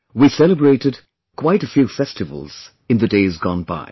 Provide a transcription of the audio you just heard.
We celebrated quite a few festivals in the days gone by